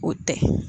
O tɛ